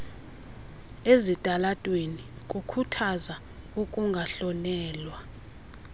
ezitalatweni kukhuthaza ukungahlonelwa